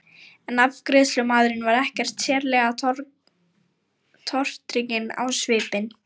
En afgreiðslumaðurinn var ekkert sérlega tortrygginn á svipinn.